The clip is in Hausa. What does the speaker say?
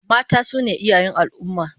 Mata su ne iyayen al'ummah